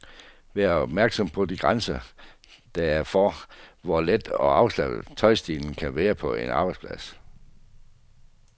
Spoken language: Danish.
Vær opmærksom på de grænser, der er for, hvor let og afslappet tøjstilen kan være på en arbejdsplads.